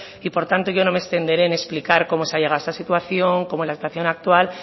y por tanto yo no me extenderé en explicar cómo se ha llegado a esa situación cómo es la situación actual